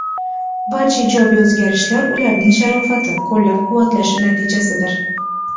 Barcha ijobiy o‘zgarishlar ularning sharofati, qo‘llab-quvvatlashi natijasidir.